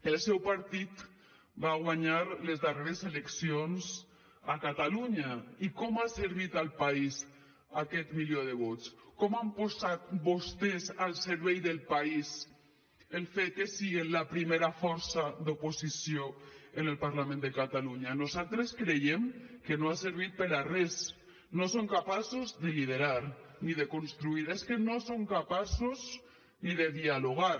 el seu partit va guanyar les darreres eleccions a catalunya i com ha servit al país aquest milió de vots com han posat vostès al servei del país el fet que sigan la primera força d’oposició en el parlament de catalunya nosaltres creiem que no ha servit per a res no són capaços de liderar ni de construir és que no són capaços ni de dialogar